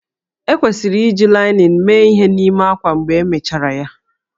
Ekwesịrị iji linin mee ihe n'ime ákwá mgbe emechara ya?